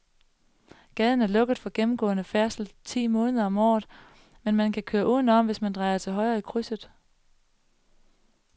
Gaden er lukket for gennemgående færdsel ti måneder om året, men man kan køre udenom, hvis man drejer til højre i krydset.